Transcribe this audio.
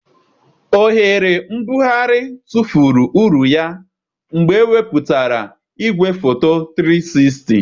oghere mbugharị tụfuru uru ya mgbe ewepụtara igwefoto 360.